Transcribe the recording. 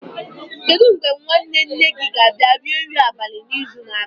Kedu mgbe nwanne nne gị ga-abịa rie nri abalị n'izu na-abịa?